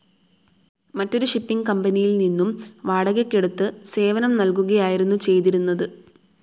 മറ്റൊരു ഷിപ്പിംഗ്‌ കമ്പനിയിൽ നിന്നും വാടകക്കെടുത്ത് സേവനം നൽകുകയായിരുന്നു ചെയ്തിരുന്നത്.